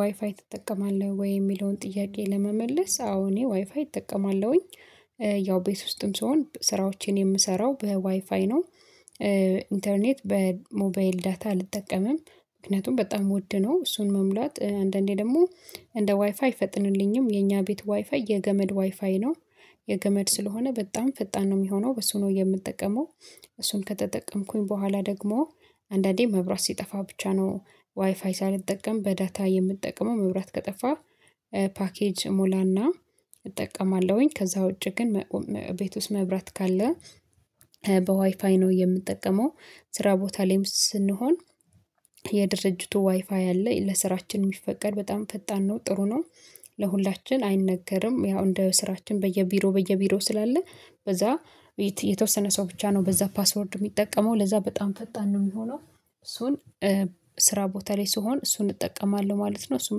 ዋይፋይ ትጠቀማለህ ወይ? የሚለውን ጥያቄ ለመመለስ አዎ እኔ ዋይፋይ እጠቀማለሁኝ። ያው ቤት ውስጥም ስሆን ስራዎችን የምሰራው በዋይፋይ ነው። ኢንተርኔት በሞባይል ዳታ አልጠቀምም። ምክንያቱም በጣም ወድነው እሱን መሙላት። አንዳንዴ ደግሞ እንደ ዋይፋይ አይፈጥንልኝም። የኛ ቤት ዋይፋይ የገመድ ዋይፋይ ነው። የገመድ ስለሆነ በጣም ፈጣን ነው የሚሆነው። በሱ ነው የምጠቀመው። እሱን ከተጠቀምኩኝ በኋላ ደግሞ አንዳንዴ መብራት ሲጠፋ ብቻ ነው ዋይፋይ ሳልጠቀም በዳታ የምጠቀመው። መብራት ከጠፋ ፓኬጅ እሞላና እጠቀማለሁኝ። ከዛ ውጪ ግን ቤት ውስጥ መብራት ካለ በዋይፋይ ነው የምጠቀመው። ስራ ቦታ ላይም ስንሆን የድርጅቱ ዋይፋይ አለ። ለስራችን የሚፈቀድ በጣም ፈጣን ነው፤ ጥሩ ነው። ለሁላችን አይነገርም። ያው እንደ ስራችን በየቢሮ በየቢሮ ስላለ በዛ የተወሰነ ሰው ብቻ ነው በዛ ፓስወርድ የሚጠቀመው። ለዛ በጣም ፈጣን ነው የሚሆነው። እሱን ስራ ቦታ ላይ ስሆን እሱን እጠቀማለሁ ማለት ነው። እሱን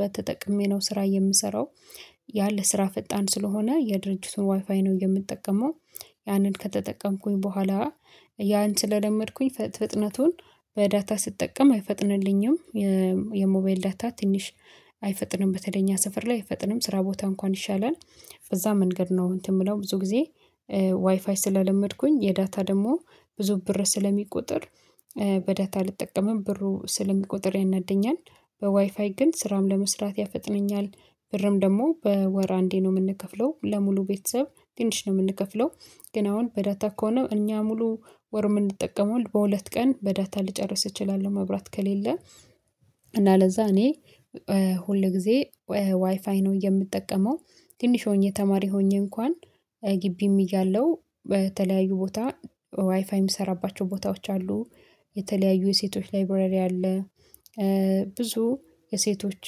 በተጠቀሜ ነው ስራ የምሰራው። ያ ለስራ ፈጣን ስለሆነ የድርጅቱን ዋይፋይ ነው የምጠቀመው። ያንን ከተጠቀምኩኝ በኋላ ያን ስለለመድኩኝ ፍጥነቱን በዳታ ስጠቀም አይፈጥንልኝም። የሞባይል ዳታ ትንሽ አይፈጥንም። በተለይ እኛ ሰፈር ላይ አይፈጥንም። ስራ ቦታ እንኳን ይሻላል። በዛ መንገድ ነው እንትን የምለው። ብዙ ጊዜ ዋይፋይ ስለለመድኩኝ የዳታ ደግሞ ብዙ ብር ስለሚቆጥር በዳታ አልጠቀምም። ብሩ ስለሚቆጥር ያናድደኛል። በዋይፋይ ግን ስራም ለመስራት ያፈጥነኛል። ብርም ደግሞ በወር አንዴ ነው የምንከፍለው። ለሙሉ ቤተሰብ ትንሽ ነው የምንከፍለው። ግን አሁን በዳታ ከሆነ እኛ ሙሉ ወር የምንጠቀመው በሁለት ቀን በዳታ ልጨርስ እችላለሁ መብራት ከሌለ። እና ለዛ እኔ ሁል ጊዜ ዋይፋይ ነው የምጠቀመው። ትንሽ ሆኜ ተማሪ ሆኜ እንኳን ግቢም እያለው በተለያዩ ቦታ ዋይፋይ የምሰራባቸው ቦታዎች አሉ። የተለያዩ የሴቶች ላይብረሪ አለ። ብዙ የሴቶች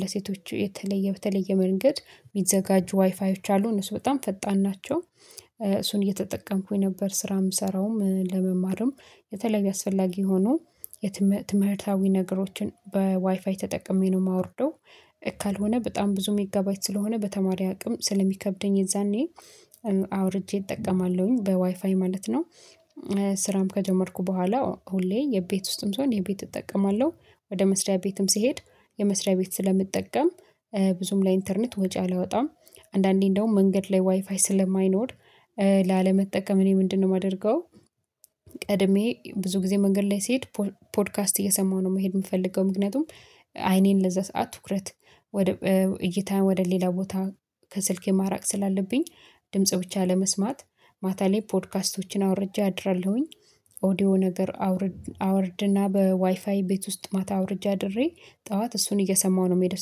ለሴቶች የተለየ በተለየ መንገድ የሚዘጋጁ ዋይፋዮች አሉ። እነሱ በጣም ፈጣን ናቸው። እሱን እየተጠቀምኩኝ ነበር ስራ የምሰራውም ለመማርም የተለያዩ አስፈላጊ የሆኑ የትምህርታዊ ነገሮችን በዋይፋይ ተጠቅሜ ነው የማወርደው። ካልሆነ በጣም ብዙ ሜጋባይት ስለሆነ በተማሪ አቅም ስለሚከብደኝ የዛኔ አውርጄ እጠቀማለሁኝ በዋይፋይ ማለት ነው ስራም ከጀመርኩ በኋላ ሁሌ የቤት ውስጥም ስሆን የቤት እጠቀማለሁ። ወደ መስሪያ ቤትም ስሄድ የመስሪያ ቤት ስለምጠቀም ብዙም ለኢንተርኔት ወጪ አላወጣም። አንዳንዴ እንደውም መንገድ ላይ ዋይፋይ ስለማይኖር እኔ ምንድነው የማደርገው ቀድሜ ብዙ ጊዜ መንገድ ላይ ስሄድ ፖድካስት እየሰማሁ ነው መሄድ የምፈልገው። ምክንያቱም አይኔን ለዛ ሰዓት ትኩረት ወደ እይታ ወደ ሌላ ቦታ ከስልኬ ማራቅ ስላለብኝ ድምጽ ብቻ ለመስማት ማታ ላይ ፖድካስቶችን አውርጄ አድራለሁኝ። ኦዲዮ ነገር አውርድ አወርድና በዋይፋይ ቤት ውስጥ ማታ አውርጄ አድሬ ጠዋት እሱን እየሰማሁ ነው የምሄደው።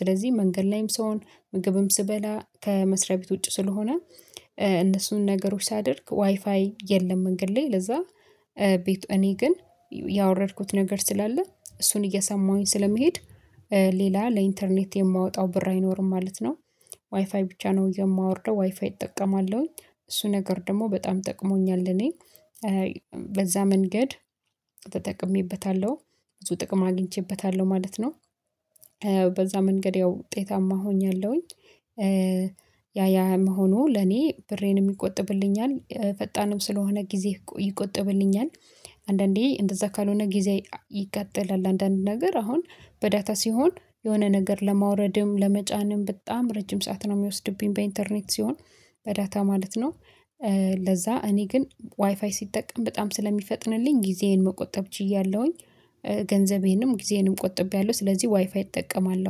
ስለዚህ መንገድ ላይም ስሆን ምግብም ስበላ ከመስሪያ ቤት ውጪ ስለሆነ እነሱን ነገሮች ሳደርግ ዋይፋይ የለም መንገድ ላይ። ለዛ ቤት እኔ ግን ያወረድኩት ነገር ስላለ እሱን እየሰማሁኝ ስለመሄድ ሌላ ለኢንተርኔት የማወጣው ብር አይኖርም ማለት ነው። ዋይፋይ ብቻ ነው የማወርደው። ዋይፋይ እጠቀማለሁኝ። እሱ ነገር ደግሞ በጣም ጠቅሞኛል እኔ። በዛ መንገድ ተጠቅሜበታለሁ። ብዙ ጥቅም አግኝቼበታለሁ ማለት ነው። በዛ መንገድ ያው ውጤታማ ሆኛለሁኝ። ያ ያ መሆኑ ለኔ ብሬንም ይቆጥብልኛል። ፈጣንም ስለሆነ ጊዜ ይቆጥብልኛል። አንዳንዴ እንደዛ ካልሆነ ጊዜ ይቃጠላል። አንዳንድ ነገር አሁን በዳታ ሲሆን የሆነ ነገር ለማውረድም ለመጫንም በጣም ረጅም ሰዓት ነው የሚወስድብኝ በኢንተርኔት ሲሆን፤ በዳታ ማለት ነው። ለዛ እኔ ግን ዋይፋይ ስጠቀም በጣም ስለሚፈጥንልኝ ጊዜዬን መቆጠብ ችያለሁኝ። ገንዘቤንም ጊዜዬንም ቆጥቤያለሁ። ስለዚህ ዋይፋይ እጠቀማለሁ።